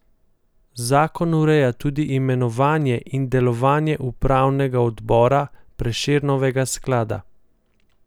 Zakon ureja tudi imenovanje in delovanje upravnega odbora Prešernovega sklada.